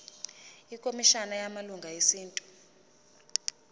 ikhomishana yamalungelo esintu